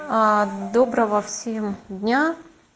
доброго всем дня